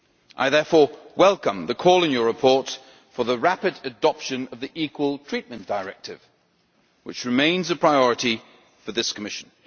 I therefore welcome the call in your report for the rapid adoption of the Equal Treatment Directive, which remains a priority for this Commission.